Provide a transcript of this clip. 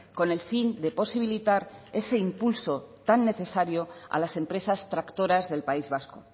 con el fin de posibilitar ese impulso tan necesario a las empresas tractoras del país vasco